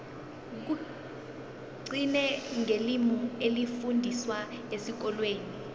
kugcine ngelimi elifundiswa esikolweni